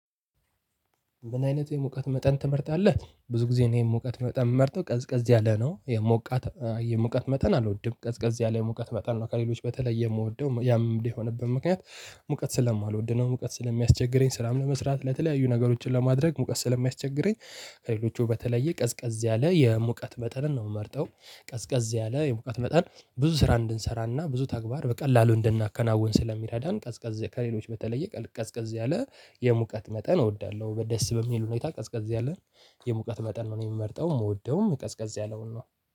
ምን አይነት የሙቀት መጠን ትመርጣለህ? ብዙ ጊዜ እኔ የሙቀት መጠን ምመርጠው ቀዝቀዝ ያለ ነው የሙቀት የሞቀት መጠን አልወድም ቀዝቀዝ ያለ የሙቀት መጠን ነው ከሌሎች በተለየ የምወደው ያም የሆነበት ምክንያት። ሙቀት ስለማልወድ ነው ሙቀት ስለሚያስቸግረኝ ስራም ለመስራት ለተለያዩ ነገሮችን ለማድረግ ሙቀት ስለሚያስቸግረኝ ከሌሎቹ በተለየ ቀዝቀዝ ያለ የሙቀት መጠንን ነው የምመርጠው። ቀዝቀዝ ያለ የሙቀት መጠን ብዙ ስራ እንድንሰራና ብዙ ተግባር በቀላሉ እንደናከናውን ስለሚረዳን ቀዝቀዝ ከሌሎች በተለየ ቀዝቀዝ ያለ የሙቀት መጠን እወዳለሁ። በደስ በሚል ሁኔታ ቀዝቀዝ ያለን የሙቀት መጠን ነው የምመርጠው። የምወደውም ቀዝቀዝ ያለውን ነው።